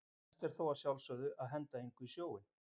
Best er þó að sjálfsögðu að henda engu í sjóinn.